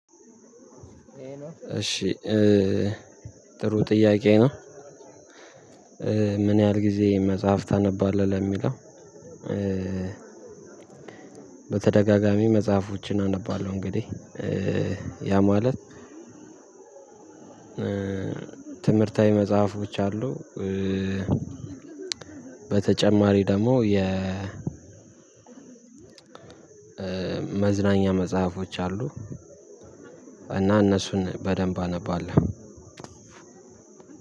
እሺ ጥሩ ጥያቄ ነው። ምን ያህል ጊዜ መጽሐፍ ታነባለህ ለሚለው? በተደጋጋሚ መጽሐፎችን አነባለሁ። እንግዲህ ያ ማለት ትምህርታዊ መጽሐፎች አሉ። በተጨማሪ ደግሞ የ መዝናኛ መጽሐፎች አሉ። እና እነሱን በደንብ አነባለሁ።